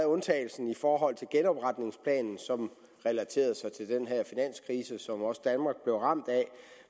undtagelse i forhold til genopretningsplanen som relaterede sig til den her finanskrise som også danmark blev ramt af